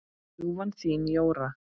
Ljúfan þín, Jóra.